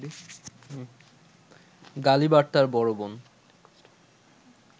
গালিব আর তার বড় বোন